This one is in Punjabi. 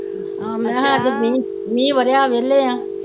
ਅੱਜ ਮੀਂਹ ਮੀਂਹ ਵਰੇਆ ਅੱਜ ਵੇਹਲੇ ਆ